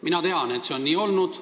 Mina tean, et see on nii olnud.